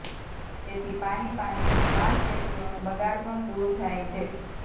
તેથી પાણી પાણીથી માંસપેશીઓનો બગાડ પણ દુર થાય છે